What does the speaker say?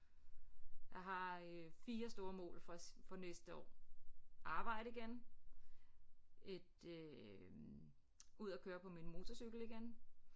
Jeg har øh 4 store mål for for næste år arbejde igen et øh ud at køre på min motorcykel igen